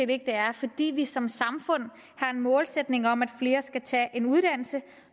det er fordi vi som samfund har en målsætning om at flere skal tage en uddannelse